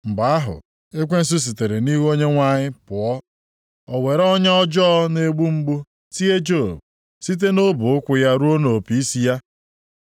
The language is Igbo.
Mgbe ahụ, ekwensu sitere nʼihu Onyenwe anyị pụọ. O were ọnya ọjọọ na-egbu mgbu tie Job, site nʼọbọ ụkwụ ya ruo nʼopi isi ya.